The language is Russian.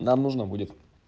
нам нужно будет